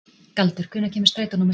Galdur, hvenær kemur strætó númer sex?